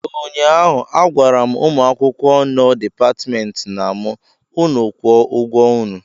ụnyahụ agwara m ụmụ akwụkwọ nọ Dipatmentị na m, unu kwụọ ụgwọ unu!